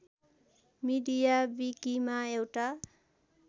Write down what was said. media विकिमा एउटा